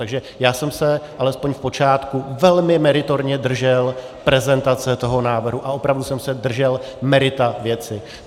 Takže já jsem se alespoň v počátku velmi meritorně držel prezentace toho návrhu a opravdu jsem se držel merita věci.